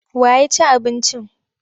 Wa ya ci abincin?